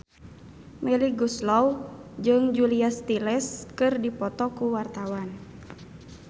Melly Goeslaw jeung Julia Stiles keur dipoto ku wartawan